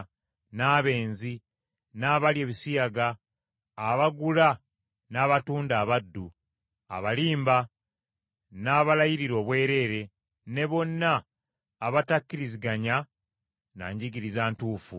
n’abenzi, n’abalya ebisiyaga, abagula n’abatunda abaddu, abalimba n’abalayirira obwereere, ne bonna abatakkiriziganya na njigiriza ntuufu,